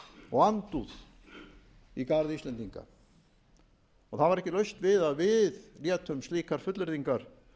og andúð í garð íslendinga og það var ekki laust við að við létum slíkar fullyrðingar